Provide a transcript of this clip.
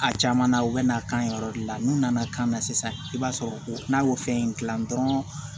A caman na u bɛ na kan ye yɔrɔ de la n'u nana kan na sisan i b'a sɔrɔ n'a y'o fɛn in dilan dɔrɔn